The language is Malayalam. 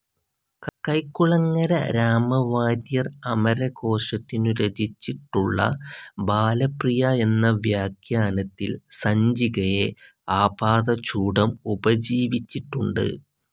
കൈക്കുളങ്ങര രാമവാര്യർ അമരകോശത്തിനു രചിച്ചിട്ടുള്ള ബാലപ്രിയ എന്ന വ്യാഖ്യാനത്തിൽ പഞ്ചികയെ ആപാദചൂഡം ഉപജീവിച്ചിട്ടുണ്ട്.